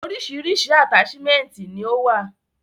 Orísirísi ataṣimẹnti ni o wa.